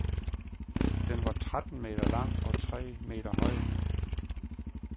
Den var tretten meter lang og tre meter høj.